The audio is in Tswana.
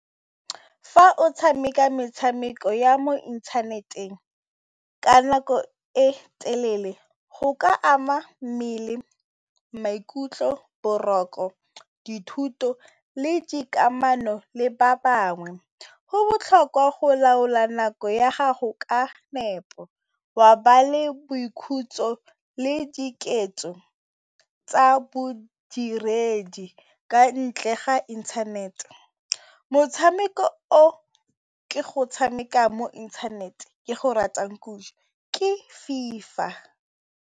Fa o tshameka metshameko ya mo inthaneteng ka nako e telele go ka ama mmele, maikutlo, boroko, dithuto le dikamano le ba bangwe. Go botlhokwa go laola nako ya gago ka nepo wa ba le boikhutso le dikeletso tsa bodiredi ka ntle ga inthanete. Motshameko o ke go tshameka mo inthanete ke go ratang ke FIFA.